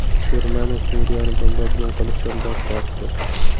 Germaniya Suriyani bombardimon qilishdan bosh tortdi.